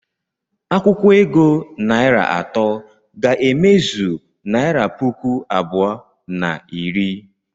Akwụkwo ego naịra atọ ga-emezu naịra puku abụọ na iri.